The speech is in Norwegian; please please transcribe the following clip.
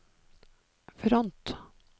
front